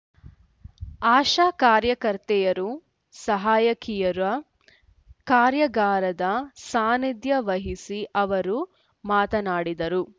ಆಶಾ ಕಾರ್ಯಕರ್ತೆಯರು ಸಹಾಯಕಿಯರ ಕಾರ್ಯಾಗಾರದ ಸಾನಿಧ್ಯ ವಹಿಸಿ ಅವರು ಮಾತನಾಡಿದರು